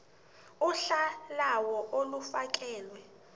uhla lawo olufakelwe